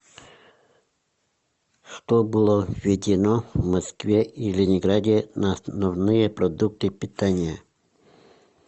что было введено в москве и ленинграде на основные продукты питания